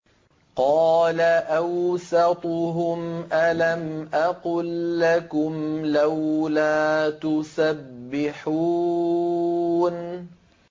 قَالَ أَوْسَطُهُمْ أَلَمْ أَقُل لَّكُمْ لَوْلَا تُسَبِّحُونَ